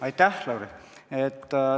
Aitäh, Lauri!